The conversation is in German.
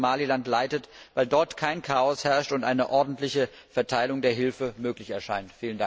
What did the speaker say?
über Somaliland leitet, weil dort kein Chaos herrscht und eine ordentliche Verteilung der Hilfe möglich erscheint.